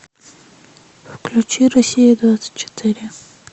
включи россия двадцать четыре